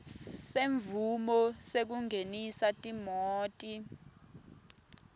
semvumo yekungenisa timoti